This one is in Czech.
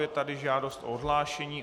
Je tady žádost o odhlášení.